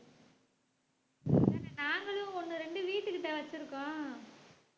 நாங்களும் ஒண்ணு இரண்டு வீட்டுக்கிட்ட வச்சிருக்கோம்